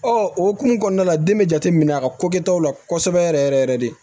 o hokumu kɔnɔna la den be jate minɛ a ka kokɛtaw la kosɛbɛ yɛrɛ yɛrɛ de